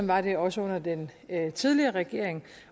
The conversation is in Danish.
var det også under den tidligere regering